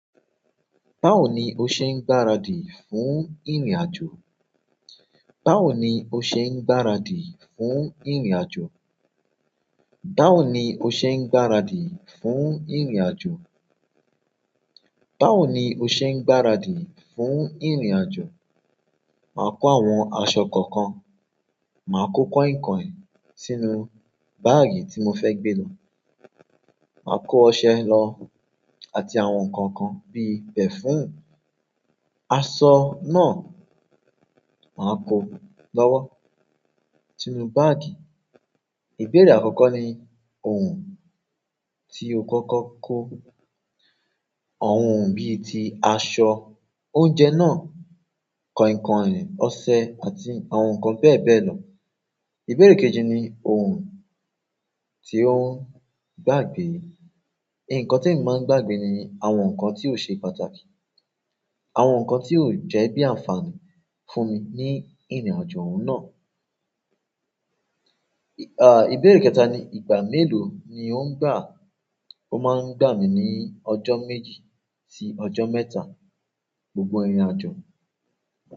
Báwo ni o ṣe ń gbaradì fún ìrìnàjò? Báwo ni o ṣe ń gbaradì fún ìrìnàjò? Báwo ni o ṣe ń gbaradì fún ìrìnàjò? Báwo ni o ṣe ń gbaradì fún ìrìnàjò? Màá kó àwọn aṣọ kọ̀ọ̀kan, màá kó kọ̀inkọ̀in sínú báàgì tí mo fẹ́ gbé lọ. Màá kó ọṣẹ lọ àti àwọn nǹkan kan bí i pẹ̀fùmì, aṣọ náà, màá kó lọ́wọ́ sínú báàgì. Ìbéèrè àkọ́kọ́ ni ohun tí o kọ́kọ́ kó. Àwọn ohun bí i ti aṣọ, oúnjẹ náà, kọ̀inkọ̀in, ọṣẹ àti àwọn nǹkan bẹ́ẹ̀ bẹ́ẹ̀ lọ. Ìbéèrè kejì ni ohun tí ó ń gbàgbé. Nkan ti e mi ma n gbagbe ni àwọn nkan ti o se pàtàkì àwọn nkan ti jẹ bi a n fa ni fún mi ni irin ajo oun náà. À, ìbéèrè kẹta ni ìgbà mélòó ni ó ń gbà. Ó máa ń gbà mí ní ọjọ́ méjì sí ọjọ́ mẹ́ta gbogbo ìrìnàjò.